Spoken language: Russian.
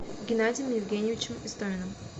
геннадием евгеньевичем истоминым